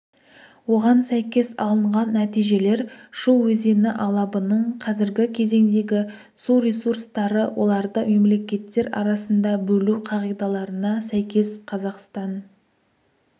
оған сәйкес алынған нәтижелер шу өзені алабының қазіргі кезеңдегі су ресурстары оларды мемлекеттер арасында бөлу қағидаларына сәйкес қазақстан